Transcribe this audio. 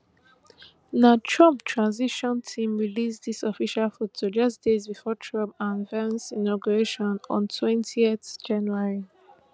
na trump transition team release dis official foto just days bifor trump and vance inauguration on twenty january